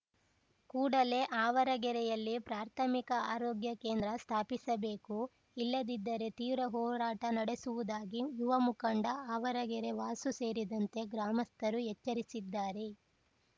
ಕೂಡಲೇ ಆವರಗೆರೆಯಲ್ಲಿ ಪ್ರಾಥಮಿಕ ಆರೋಗ್ಯ ಕೇಂದ್ರ ಸ್ಥಾಪಿಸಬೇಕು ಇಲ್ಲದಿದ್ದರೆ ತೀವ್ರ ಹೋರಾಟ ನಡಸುವುದಾಗಿ ಯುವ ಮುಖಂಡ ಆವರಗೆರೆ ವಾಸು ಸೇರಿದಂತೆ ಗ್ರಾಮಸ್ಥರು ಎಚ್ಚರಿಸಿದ್ದಾರೆ